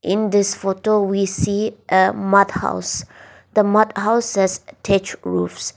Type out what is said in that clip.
in this photo we see a mud house the mud house has thatched roofs.